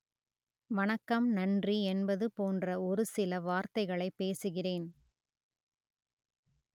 வணக்கம் நன்றி என்பது போன்ற ஒரு சில வார்த்தைகளை பேசுகிறேன்